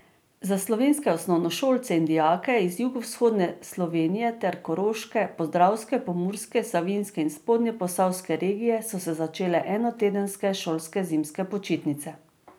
Za slovenske osnovnošolce in dijake iz jugovzhodne Slovenije ter koroške, podravske, pomurske, savinjske in spodnjeposavske regije so se začele enotedenske šolske zimske počitnice.